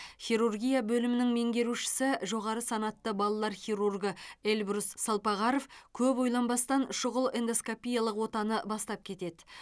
хирургия бөлімінің меңгерушісі жоғары санатты балалар хирургы эльбрус салпағаров көп ойланбастан шұғыл эндоскопиялық отаны бастап кетеді